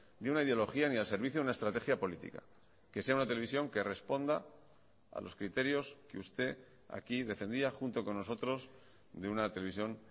de una ideología ni al servicio de una estrategia política que sea una televisión que responda a los criterios que usted aquí defendía junto con nosotros de una televisión